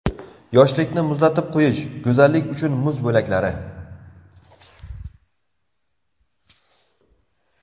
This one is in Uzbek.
Yoshlikni muzlatib qo‘yish: Go‘zallik uchun muz bo‘laklari.